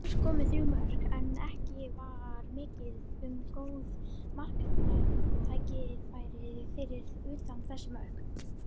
Alls komu þrjú mörk, en ekki var mikið um góð marktækifæri fyrir utan þessi mörk.